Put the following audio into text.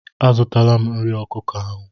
A zụtala m nri ọkụkọ ahụ.